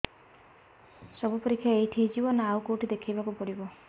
ସବୁ ପରୀକ୍ଷା ଏଇଠି ହେଇଯିବ ନା ଆଉ କଉଠି ଦେଖେଇ ବାକୁ ପଡ଼ିବ